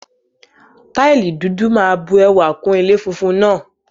Táìlì dúdú máa bu ẹwà kún ilé funfun náà.